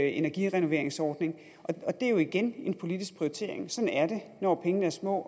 energirenoveringsordning og det er jo igen en politisk prioritering sådan er det når pengene er små